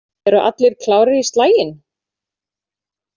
Eru allir klárir í slaginn?